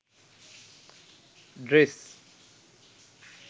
dress